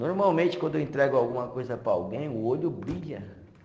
Normalmente, quando eu entrego alguma coisa para alguém, o olho brilha.